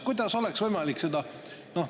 Kuidas oleks võimalik seda …